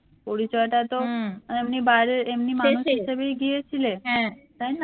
পরিচয়টা তো এমনি বাইরের এমনি মানুষ হিসেবেই গিয়েছিলে তাইনা